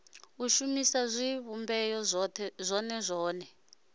u shumisa zwivhumbeo zwone zwone